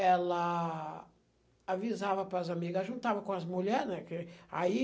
ela avisava para as amigas, juntava com as mulheres, né, que aí